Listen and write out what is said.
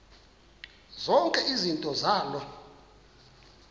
zonke izinto zaloo